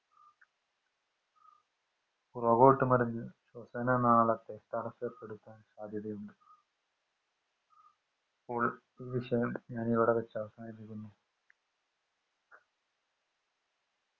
പുറകോട്ട് മറിഞ്ഞു ശ്വസന നാളത്തെ തടസപ്പെടുത്താൻ സാധ്യതയുണ്ട്. അപ്പോൾ ഈ വിഷയം ഞാൻ ഇവിടെ വച്ച് അവസാനിപ്പിക്കുന്നു.